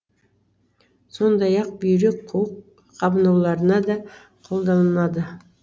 сондай ақ бүйрек қуық қабынуларына да қолданынады